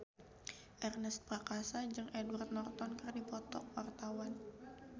Ernest Prakasa jeung Edward Norton keur dipoto ku wartawan